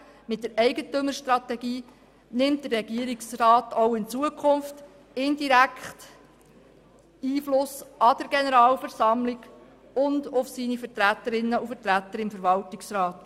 Mit der Eigentümerstrategie nimmt der Regierungsrat auch in Zukunft indirekt Einfluss an der Generalversammlung und auf seine Vertreterinnen und Vertreter im Verwaltungsrat.